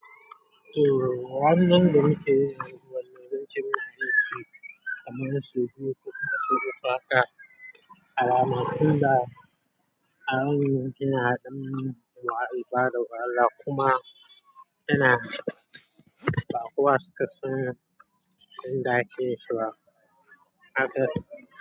To, wannan birni ke da wuraren zance masu nufi kamar su duk masu shuka aka, al'amatu da abubuwan gina adon wa ibadar Allah kuma yana ba kuwa suka san yadda aje yinshi ba haka.